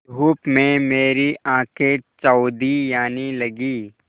धूप में मेरी आँखें चौंधियाने लगीं